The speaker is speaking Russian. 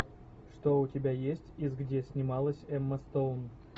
что у тебя есть из где снималась эмма стоун